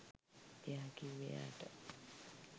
එයා කිව්වේ එයාට